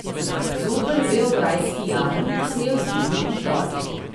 Zoper beograjski jarem se je vzdignil upor.